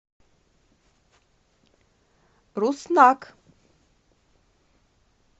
руснак